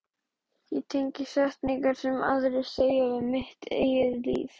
Ég tengi setningar sem aðrir segja við mitt eigið líf.